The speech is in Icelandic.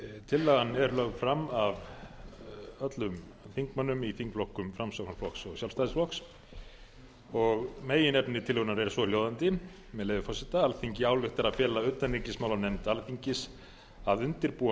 tillagan er lögð fram af öllum þingmönnum í þingflokkum framsóknarflokks og sjálfstæðisflokks meginefni tillögunnar er svohljóðandi með leyfi forseta alþingi ályktar að fela utanríkismálanefnd alþingis að undirbúa